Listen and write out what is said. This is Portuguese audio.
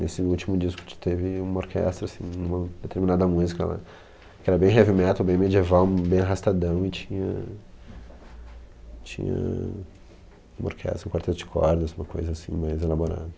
Nesse último disco t teve uma orquestra, assim, uma determinada música, que era bem heavy metal, bem medieval, bem arrastadão, e tinha tinha... uma orquestra, um quarteto de cordas, uma coisa assim mais elaborada.